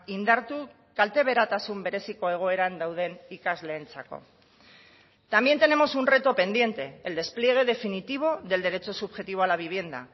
indartu kalteberatasun bereziko egoeran dauden ikasleentzako también tenemos un reto pendiente el despliegue definitivo del derecho subjetivo a la vivienda